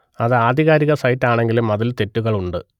അത് ആധികാരിക സൈറ്റ് ആണെങ്കിലും അതിൽ തെറ്റുകൾ ഉണ്ട്